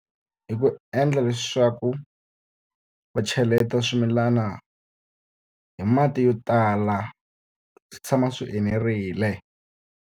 Hi ku endla leswaku va cheleta swimilana hi mati yo tala, swi tshama swi enerile.